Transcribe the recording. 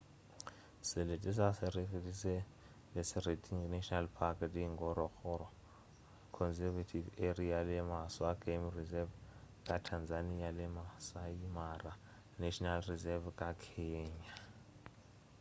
selete sa serengeti se na le serengeti national park the ngorongoro conservation area le maswa game reserve ka tanzania le maasai mara national reserve ka kenya